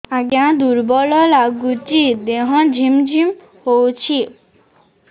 ଆଜ୍ଞା ଦୁର୍ବଳ ଲାଗୁଚି ଦେହ ଝିମଝିମ ହଉଛି